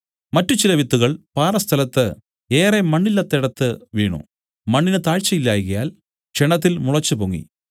മറ്റു ചില വിത്തുകൾ പാറസ്ഥലത്ത് ഏറെ മണ്ണില്ലാത്തേടത്തു വീണു മണ്ണിന് താഴ്ച ഇല്ലായ്കയാൽ ക്ഷണത്തിൽ മുളച്ചുപൊങ്ങി